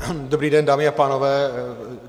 Dobrý den, dámy a pánové.